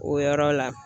O yɔrɔ la